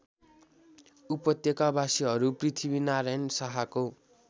उपत्यकावासीहरू पृथ्वीनारायण शाहको